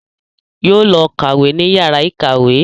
Yóò lọ kàwé ní yàrá ìkàwé